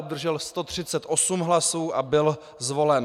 Obdržel 138 hlasů a byl zvolen.